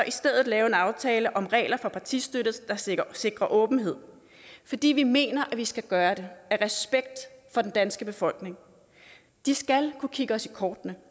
i stedet lave en aftale om regler for partistøtte der sikrer sikrer åbenhed fordi vi mener at vi skal gøre det af respekt for den danske befolkning de skal kunne kigge os i kortene